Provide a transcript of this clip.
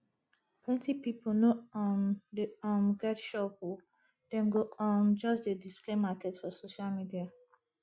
plenty pipu no um dey um get shop o dem go um just dey display market for social media